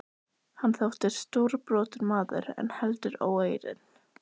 Hann þótti stórbrotinn maður en heldur óeirinn.